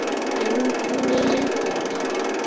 Minn tími mun koma.